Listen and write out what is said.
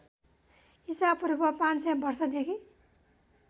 ईशापूर्व ५०० वर्षदेखि